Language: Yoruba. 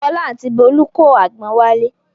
Fọlá àti Bólú kó àgbọn wálé.